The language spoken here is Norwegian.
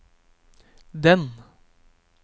den